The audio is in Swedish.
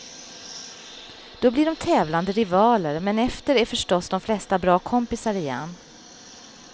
Då blir de tävlande rivaler men efter är förstås de flesta bra kompisar igen.